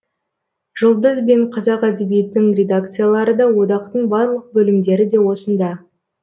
жұлдыз бен қазақ әдебиетінің редакциялары да одақтың барлық бөлімдері де осында